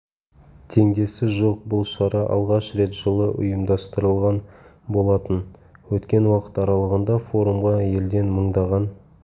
теңдесі жоқ бұл шара алғаш рет жылы ұйымдастырылған болатын өткен уақыт аралығында форумға елден мыңдаған